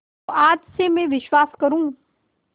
तो आज से मैं विश्वास करूँ